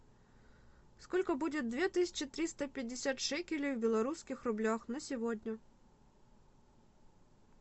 сколько будет две тысячи триста пятьдесят шекелей в белорусских рублях на сегодня